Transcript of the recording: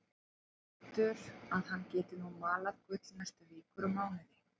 Heldur að hann geti nú malað gull næstu vikur og mánuði.